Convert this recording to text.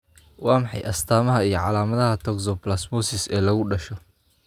Waa maxay astamaha iyo calaamadaha toxoplasmosis ee lagu dhasho?